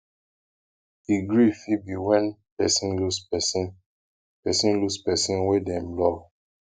the grief fit be when person lose person person lose person wey dem love